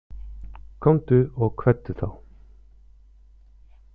Komdu og kveddu þá.